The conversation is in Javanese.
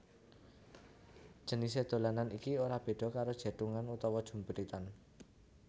Jenisé dolanan iki ora béda karo jèthungan utawa jumpritan